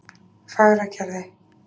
Fagragerði